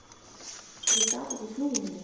Ég gat ekki flúið neitt.